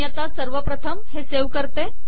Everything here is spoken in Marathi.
मी आता सर्वप्रथम हे सेव्ह करते